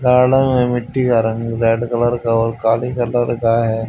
Garden में मिट्टी का रंग रेड कलर का और काली कलर का है।